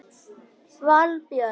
Valbjörn